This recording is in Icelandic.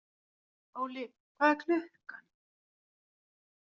Óli, hvað er klukkan?